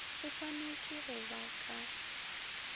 se swanetpego go ba ka